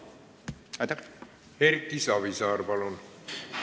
Erki Savisaar, palun!